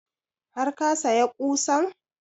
Har ka saya ƙusan?